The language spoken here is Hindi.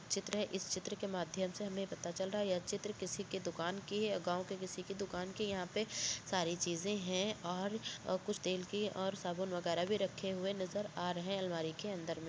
चित्र है इस चित्र के माध्यम से हमें ये पता चल रहा है यह चित्र किसी की दुकान की है और गांव की किसी दुकान की है यहाँ पे सारी चीज़े है और कुछ तेल के और साबुन वगैरा भी रखे हुए नज़र आ रहे है अलमारी के अंदर में --